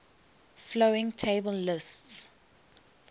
following table lists